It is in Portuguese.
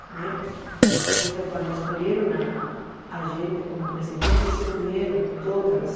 Né então, quando escolheram a gente como presidente, se uniram todas as